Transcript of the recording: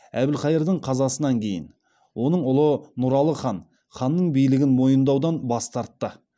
әбілқайырдың қазасынан кейін оның ұлы нұралы хан ханның билігін мойындаудан бас тартты